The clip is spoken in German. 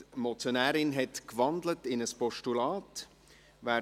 Die Motionärin hat in ein Postulat gewandelt.